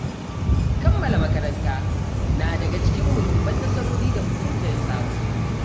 Kammala makaranta na daga cikin muhimman nasarori da mutum zai samu.